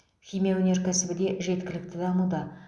химия өнеркәсібі де жеткілікті дамуда